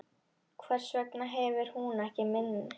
Hvers vegna hefur hún ekkert minni?